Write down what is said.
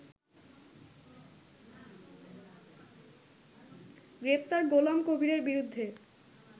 গ্রেপ্তার গোলাম কবিরের বিরুদ্ধে